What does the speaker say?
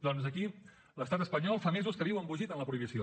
doncs aquí l’estat espanyol fa mesos que viu embogit en la prohibició